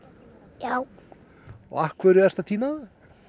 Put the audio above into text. já af hverju ertu að tína það